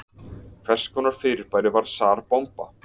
Hvers konar fyrirbæri var Tsar Bomba?